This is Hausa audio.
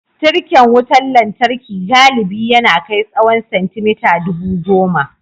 Tirken wutar lantarki galibi ya na kai tsawan centimeter dubu goma.